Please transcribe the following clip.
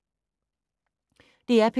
DR P2